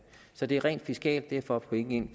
så det er rent fiskalt det er for at få penge ind